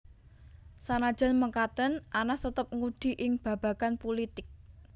Sanajan mekaten Anas tetep ngudi ing babagan pulitik